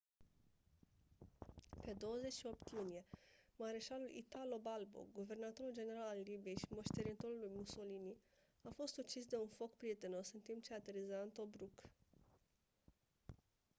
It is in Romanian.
pe 28 iunie mareșalul italo balbo guvernatorul general al libiei și moștenitorul lui mussolini a fost ucis de un foc prietenos în timp ce ateriza în tobruk